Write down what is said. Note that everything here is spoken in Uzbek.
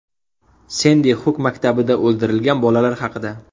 Sendi Xuk maktabida o‘ldirilgan bolalar haqida.